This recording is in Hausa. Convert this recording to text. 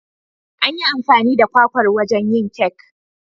An yi amfani da kwakwar wajen yin kek